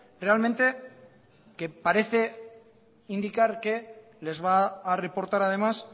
realmente que parece indicar que les va a reportar además